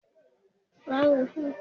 Bẹ́ẹ̀ni, ó ń lo òògùn ibà.